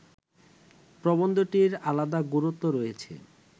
প্রবন্ধটির আলাদা গুরুত্ব রয়েছে